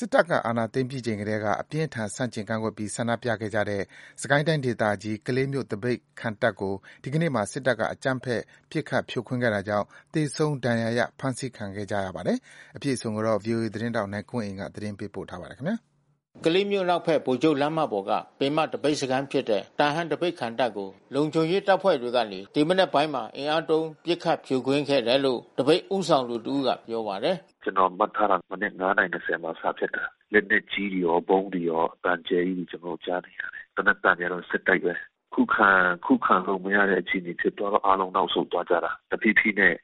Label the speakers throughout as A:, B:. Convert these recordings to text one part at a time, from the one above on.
A: စစ်တပ်အာဏာသိမ်းပြီးချိန်ကတည်းက အပြင်းအထန် ဆန့်ကျင်ကန့်ကွက်ပြီး ဆန္ဒပြခဲ့ကြတဲ့ စစ်ကိုင်းတိုင်းဒေသကြီး၊ ကလေးမြို့ သပိတ်ခံတပ်ကို ဒီကနေ့မှာ စစ်တပ်က အကြမ်းဖက် ပစ်ခတ်ဖြိုခွဲတာကြောင့် သေဆုံးဒဏ်ရာရ ဖမ်းဆီးခံကြရပါတယ်။ အပြည့်အစုံကို ဗွီအိုအေသတင်းထောက် နိုင်ကွန်းအိန်က သတင်းပေးပို့ထားပါတယ်။ ကလေးမြို့အနောက်ဖက် ဗိုလ်ချုပ်လမ်းမပေါ်က ပင်မသပိတ်စခန်းဖြစ်တဲ့ တာဟန်းသပိတ်ခံတပ်ကို လုံခြုံရေးတပ်ဖွဲ့ တွေကနေ ဒီမနက်ပိုင်းမှာ အင်အားသုံး ပစ်ခတ်ဖြိုခွင်းခဲ့တယ်လို့ သပိတ်ဦးဆောင်တဦးကပြောပါတယ်။
B: “မနက်(၅)နာရီ(၂၀)မှာစဖြစ်တာ။ လက်နက်ကြီးတွေရော ဗုံးတွေရော အသံအကျယ်ကြီးကျွန်တော်တို့ကြားနေရတယ်။ သေနတ်သံတွေကတော့ဆက်တိုက်ဘဲ။ ခုခံလို့မရတဲ့အခြေအနေဖြစ်သွားတော့ အားလုံးနောက်ဆုတ်သွားကြတာ။ တဖြေး ဖြေးနဲ့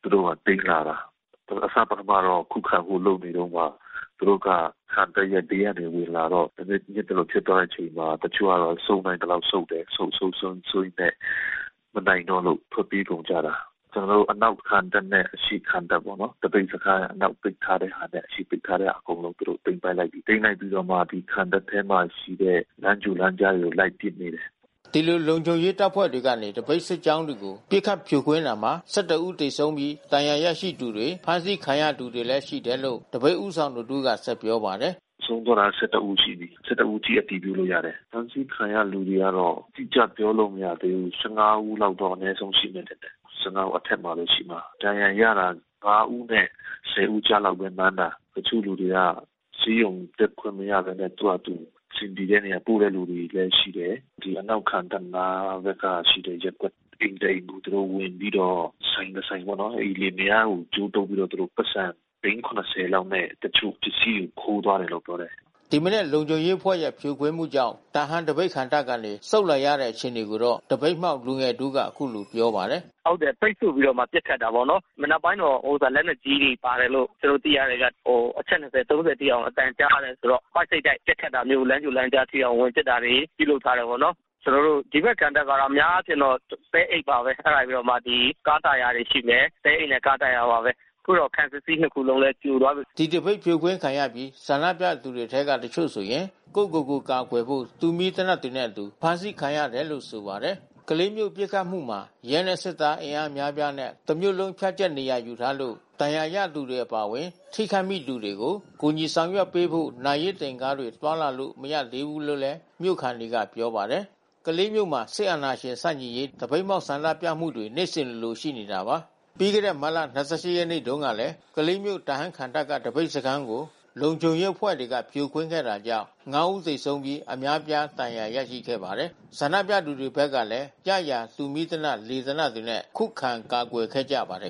B: သူတို့ကသိမ်းလာတာ။ သူတို့ကခံတပ်ရဲ့ဘေးကဝင်လာတော့ သပိတ်အဲဒီလိုဖြစ်သွားတဲ့အချိန်မှာ တချို့ က ဆုတ်နိုင် သလောက်ဆုတ်တယ်။ ဆုတ် ဆုတ် ဆုတ်ရင်းနဲ့ မနိုင်တော့လို့ ထွက်ပြေးကုန်ကြတာ။ ကျွန်တော်တို့ခံတပ် ပေါ့နော်။ သပိတ်စခန်းအနောက်ပိတ်ထားတဲ့ဟာနဲ့ အရှေ့ကပိတ်ထားတဲ့ဟာ အကုန်လုံးသူတို့သိမ်းပိုက်လိုက်ကြပြီး။ သိမ်းလိုက်ပြီးတော့မှ ခံတပ်ထဲမှာရှိတဲ့ လမ်းကြိုလမ်းကြားတွေလိုက်ပ
A: စ်နေတယ်။” ဒီလိုလုံခြုံရေးတပ်ဖွဲ့တွေကနေသပိတ်စစ်ကြောင်းတွေကို ပစ်ခတ်ဖြိုခွင်းတာမှာ ၁၁ ဦးသေဆုံးပြီး ဒဏ်ရာရသူတွေ၊ ဖမ်းဆီးခံရသူတွေလည်း ရှိတယ်လို့ သပိတ်ဦးဆောင်တဦးကဆက်ပြောပါတယ်။
B: “ဆုံးသွားတာ(၁၁)ဦးရှိပြီး။ (၁၁)ဦးအထိအတည်ပြုလို့ရတယ်။ ဖမ်းဆီးခံရတဲ့လူတွေကတော့ အတိကျပြောလို့ မရသေးဘူး။ (၁၅)ဦးလောက်တော့ အနဲဆုံးရှိမယ်ထင်တယ်။ (၁၅)ဦးအထက်မှာဘဲရှိမှာ။ ဒဏ်ရာရတာ (၅)ဦးနဲ့(၁၀)ဦး ကြားမှာဘဲမှန်းတာ။ တချို့လူတွေကဆေးရုံတက်ခွင့်မရဘဲနဲ့ သူတို့ဘာသာသူ အဆင်ပြေတဲ့နေရာကုတဲ့လူလဲရှိတယ်။ ဒီအနောက်ခံတပ်နား မှာရှိတဲ့ရပ်ကွက်ထဲက အိမ်တအိမ်သူတို့ဝင်ပြီးတော့ ဆိုင်တဆိုင်ပေါ့နော် အိမ်လင်မယား ကိုကြိုးတုတ်ပြီးတော့ သူတို့ပိုက်ဆံ သိန်း(၇၀)လောက်နဲ့ တချို့ပစ္စည်းကိုခိုးသွားတယ်လို့ပြောတယ်။”
A: ဒီမနက်လုံခြုံရေးအဖွဲ့ရဲ့ဖြိုခွင်းမှုကြောင့် တာဟန်းသပိတ်ခံတပ်ကနေ ဆုတ်လာရတဲ့အခြေအနေကိုတော့ သပိတ် မှောက်လူငယ် တဦး ကအခုလိုပြောပါတယ်။
C: “ဟုတ်တယ်ပိတ်ဆို့ပြီးတော့မှ ပစ်ခတ်တာပေါ့နော်။ မနက်ပိုင်းတော့လက်နက်ကြီးတွေပါတယ်လို့ ကျွန်တော်တို့သိရ တယ်ဗျ။ အချက်(၂၀)(၃၀)ထိအောင်အသံကြားတယ်။ ပိုက်စိပ်တိုက်ပစ်ခတ်တာမျိုး လမ်းကြိုလမ်းကြားထဲဝင်ပစ်တာတွေ ပြုလုပ် ထားတယ်ပေါ့နော်။ ကျွန်တော်တို့ဒီဖက်ခံတပ်ကတော့အများအားဖြင့်တော့ သဲအိတ်ပါဘဲ။ အဲတာပြီးတော့မှ ကား တာယာတွေရှိမယ်။ သဲအိတ်နဲ့ကားတာယာပါဘဲ။ အခုတော့ခံစစ်စည်း
A: (၂)ခုလုံးလဲပြိုသွားပြီး။” ဒီသပိတ်ဖြိုခွင်းခံရပြီး ဆန္ဒပြသူတွေအထဲက တချို့ဆိုရင် ကိုယ့်ကိုယ်ကိုကာကွယ်ဖို့ တူမီးသေနတ်တွေနဲ့အတူ အဖမ်း ဆီးခံခဲ့ရတယ်လို့ဆိုပါတယ်။ ကလေးမြို့ပစ်ခတ်မှုမှာ ရဲနဲ့စစ်သား အင်အားအများအပြားနဲ့ တစ်မြို့လုံး ဖြန့်ကျန့်နေရာယူထားလို့ ဒဏ်ရာရသူတွေ အပါဝင် ထိခိုက်မိသူတွေကို ကူညီဆောင်ရွက်ပေးဖို့ လူနာတင်ကားတွေသွားလာလို့ မရသေးဘူးလို့လဲမြို့ခံတွေက ပြောပါတယ်။ ကလေးမြို့မှာ စစ်အာဏာရှင်ဆန့်ကျင်ရေး သပိတ်မှောက်ဆန္ဒပြမှုတွေနေ့စဉ်လိုလိုရှိခဲ့တာပါ။ ပြီးခဲ့တဲ့မတ်လ ၂၈ ရက်နေ့တုန်း ကလဲ ကလေးမြို့ တာဟန်းခံတပ်က သပိတ်စခန်းကို လုံခြုံရေးအဖွဲ့တွေကဖြိုခွင်းခဲ့တာကြောင့် ၅ ဦးသေဆုံးပြီး အများအပြား ဒဏ်ရာရရှိခဲ့ပါတယ်။ ဆန္ဒပြသူတွေဘက်ကလည်း ရရာတူးမီးသေနတ် လေသေနတ်တွေနဲ့ ခုခံကာကွယ်ခဲ့ကြပါတယ်